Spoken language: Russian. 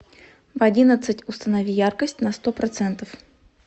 в одиннадцать установи яркость на сто процентов